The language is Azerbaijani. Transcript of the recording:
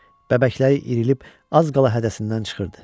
Bəbəkləri irilib az qala hədəsindən çıxırdı.